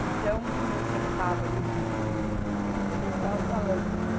Então, eu sentava ali o idoso na minha frente, o idoso estava falando.